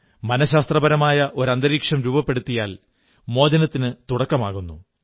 മനഃശാസ്ത്രപരമായ ഒരു അന്തരീക്ഷം രൂപപ്പെടുത്തിയാൽ മോചനത്തിനു തുടക്കമാകുന്നു